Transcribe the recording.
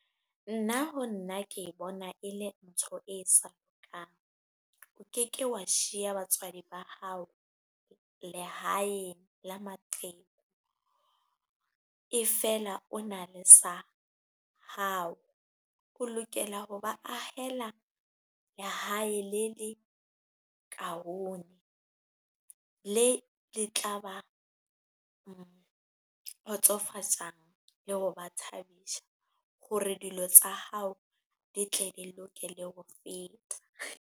Nna ho nna ke bona ele ntho e sa lokang. O ke ke wa shiya batswadi ba hao lehaeng la maqheku e fela o na le sa hao. O lokela ho ba ahela lehae le le kaone, le le tla ba kgotsofatsang le ho ba thabisa hore dilo tsa hao di tle di loke le ho feta.